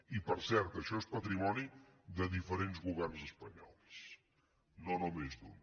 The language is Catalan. i per cert això és patrimoni de diferents governs espanyols no només d’un